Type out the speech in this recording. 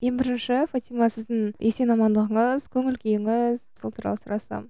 ең бірінші фатима сіздің есен амандығыңыз көңіл күйіңіз сол туралы сұрасам